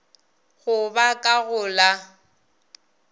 go ba ka go la